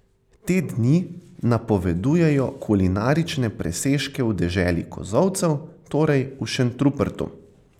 Te dni napovedujejo kulinarične presežke v deželi kozolcev, torej v Šentrupertu.